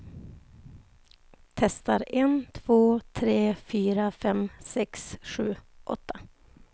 Testar en två tre fyra fem sex sju åtta.